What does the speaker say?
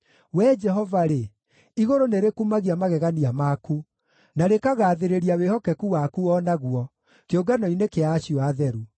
Wee Jehova-rĩ, igũrũ nĩrĩkumagia magegania maku, na rĩkagaathĩrĩria wĩhokeku waku o naguo, kĩũngano-inĩ kĩa acio atheru.